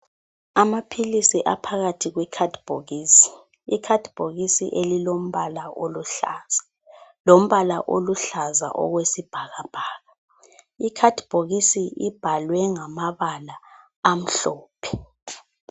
Amaphilisi aphakathi kwekhadibhokisi, ikhadibhokisi elilombala oluhlaza, lombala oluhlaza okwesibhakabhaka. Ikhadibhokisi ibhalwe ngamabala amhlophe.